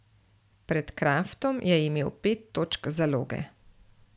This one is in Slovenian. Pred Kraftom je imel pet točk zaloge.